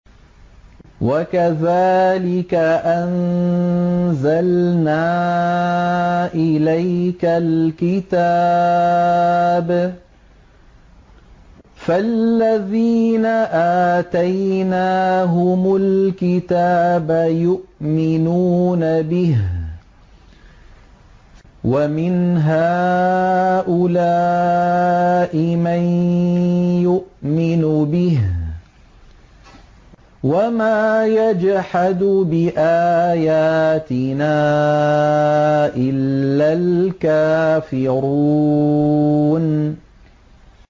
وَكَذَٰلِكَ أَنزَلْنَا إِلَيْكَ الْكِتَابَ ۚ فَالَّذِينَ آتَيْنَاهُمُ الْكِتَابَ يُؤْمِنُونَ بِهِ ۖ وَمِنْ هَٰؤُلَاءِ مَن يُؤْمِنُ بِهِ ۚ وَمَا يَجْحَدُ بِآيَاتِنَا إِلَّا الْكَافِرُونَ